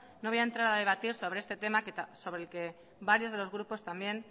no voy a entrar a debatir sobre este tema sobre el que varios de los grupos también